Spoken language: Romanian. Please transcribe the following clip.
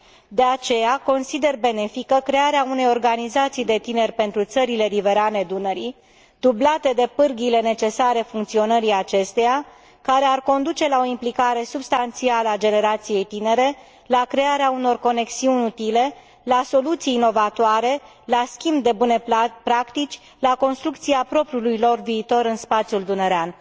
De aceea, consider benefică crearea unei organizații de tineri pentru țările riverane Dunării, dublată de pârghiile necesare funcționării acesteia, care ar conduce la o implicare substanțială a generației tinere, la crearea unor conexiuni utile, la soluții inovatoare, la schimb de bune practici, la construcția propriului lor viitor în spațiul dunărean.